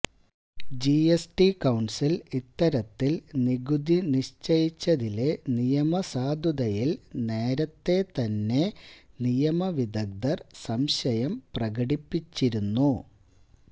GST council ഇത്തരത്തിൽ നികുതി നിശ്ചയിച്ചതിലെ നിയമസാധുതയിൽ നേരത്തേതന്നെ നിയമവിദഗ്ധർ സംശയം പ്രകടിപ്പിച്ചിരുന്നു